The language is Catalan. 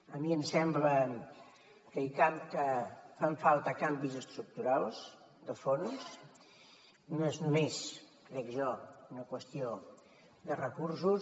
a mi em sembla que fan falta canvis estructurals de fons no és només crec jo una qüestió de recursos